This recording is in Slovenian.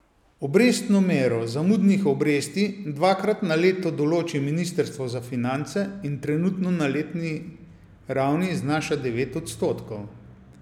Obrestno mero zamudnih obresti dvakrat na leto določi ministrstvo za finance in trenutno na letni ravni znaša devet odstotkov.